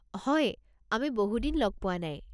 হয়, আমি বহুদিন লগ পোৱা নাই।